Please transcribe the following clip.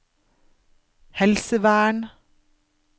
helsevern